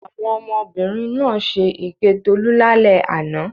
Àwọn ọmọbìnrin náà ṣe èké Tolú lálẹ́ àná.